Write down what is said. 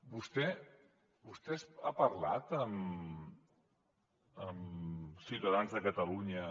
vostè ha parlat amb ciutadans de catalunya